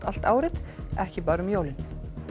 allt árið ekki bara um jólin